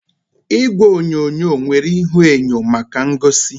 Igwe onyonyo nwere ihuenyo maka ngosi